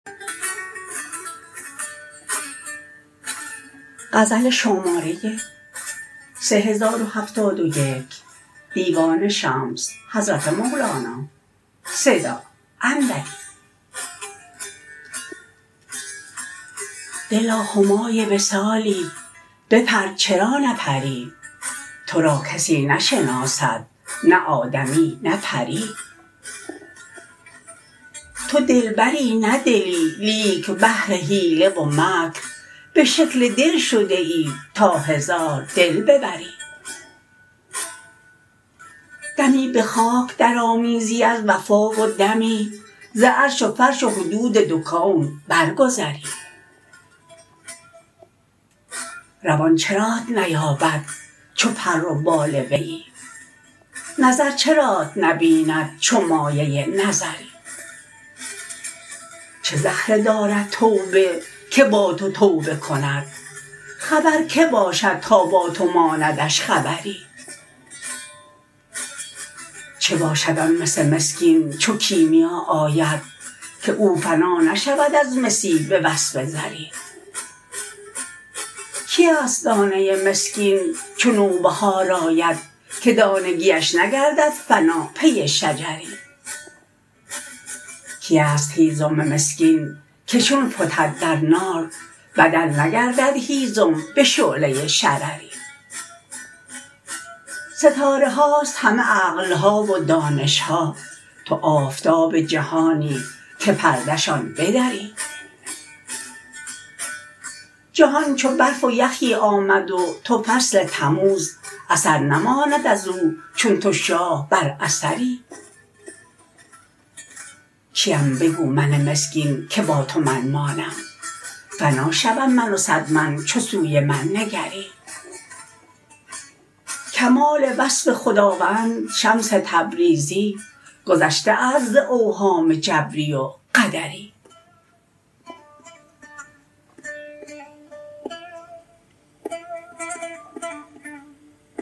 دلا همای وصالی بپر چرا نپری تو را کسی نشناسد نه آدمی نه پری تو دلبری نه دلی لیک بهر حیله و مکر به شکل دل شده ای تا هزار دل ببری دمی به خاک درآمیزی از وفا و دمی ز عرش و فرش و حدود دو کون برگذری روان چرات نیابد چو پر و بال ویی نظر چرات نبیند چو مایه نظری چه زهره دارد توبه که با تو توبه کند خبر کی باشد تا با تو ماندش خبری چه باشد آن مس مسکین چو کیمیا آید که او فنا نشود از مسی به وصف زری کیست دانه مسکین چو نوبهار آید که دانگیش نگردد فنا پی شجری کیست هیزم مسکین که چون فتد در نار بدل نگردد هیزم به شعله شرری ستاره هاست همه عقل ها و دانش ها تو آفتاب جهانی که پرده شان بدری جهان چو برف و یخی آمد و تو فصل تموز اثر نماند از او چون تو شاه بر اثری کیم بگو من مسکین که با تو من مانم فنا شوم من و صد من چو سوی من نگری کمال وصف خداوند شمس تبریزی گذشته ست ز اوهام جبری و قدری